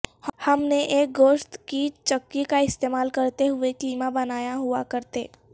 ہم نے ایک گوشت کی چکی کا استعمال کرتے ہوئے کیما بنایا ہوا کرتے